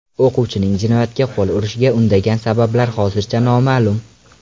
O‘quvchining jinoyatga qo‘l urishiga undagan sabablar hozircha noma’lum.